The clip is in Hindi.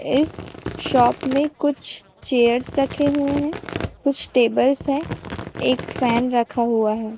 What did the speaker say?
इस शॉप में कुछ चेयर्स रखे हुए हैं कुछ टेबल्स हैं एक फैन रखा हुआ है।